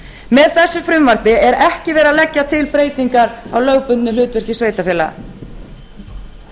með þessu frumvarpi er ekki verið að leggja til breytingar á lögbundnu hlutverki sveitarfélaga